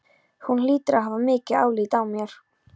Hún hlýtur að hafa mikið álit á mér.